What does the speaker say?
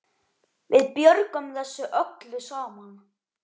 Við björgum þessu öllu saman.